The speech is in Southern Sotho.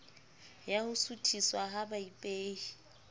ya ho suthiswa ha baipehi